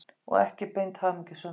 Og ekki beint hamingjusöm.